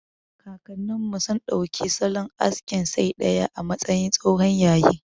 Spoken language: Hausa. Kakannin mu sun ɗauki salon askin saidaya a matsayin tsohon yayi.